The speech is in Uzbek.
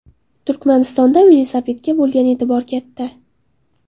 Turkmanistonda velosipedga bo‘lgan e’tibor katta.